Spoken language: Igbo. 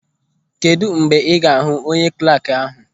Kedụ mgbe ị ga-ahụ onye klaakị ahụ.